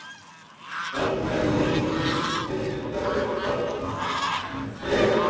Þar með lengist vinnudagur barnanna enn frekar.